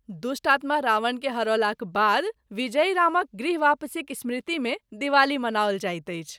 दुष्टात्मा रावणकेँ हरौलाक बाद विजयी रामक गृह वापसीक स्मृतिमे दिवाली मनाओल जाइत अछि।